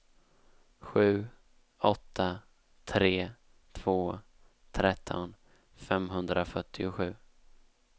sju åtta tre två tretton femhundrafyrtiosju